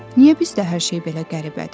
Niyə bizdə hər şey belə qəribədir?